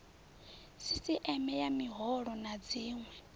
sisieme ya miholo na dziwe